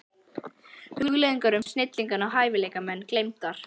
Hugleiðingar um snillinga og hæfileikamenn gleymdar.